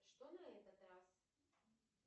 что на этот раз